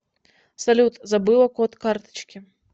салют забыла код карточки